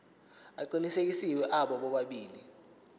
aqinisekisiwe abo bobabili